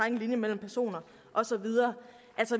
en linje mellem personer og så videre